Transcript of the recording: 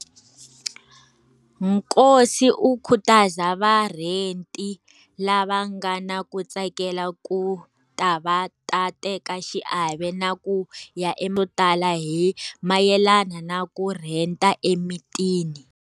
Nkosi u khutaza varheti lava nga na ku tsakela ku ta va ta teka xiave na ku ya e yo tala hi mayelana na ku rheta emitini.